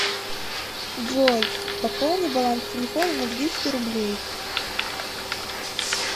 джой пополни баланс телефона на двести рублей